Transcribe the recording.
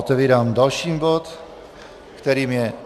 Otevírám další bod, kterým je